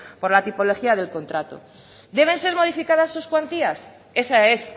por la tipología del contrato deben ser modificadas sus cuantías esa es